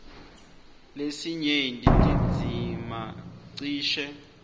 lesinyenti tindzima cishe